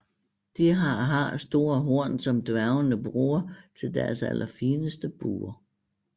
De har har store horn som dværgene bruger til deres allerfineste buer